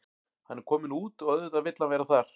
Hann er kominn út og auðvitað vill hann vera þar.